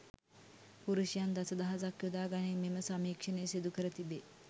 පුරුෂයන් දස දහසක් යොදා ගනිමින් මෙම සමීක්ෂණය සිදු කර තිබේ.